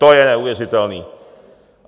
To je neuvěřitelné.